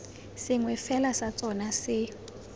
sengwe fela sa tsona se